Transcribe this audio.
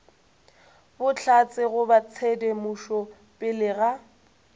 bohlatse goba tshedimošo pele ga